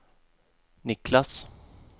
Niklas